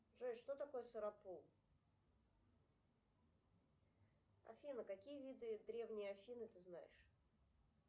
джой что такое сыропул афина какие виды древней афины ты знаешь